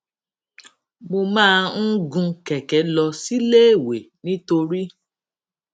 mo máa ń gun kèké lọ síléèwé nítorí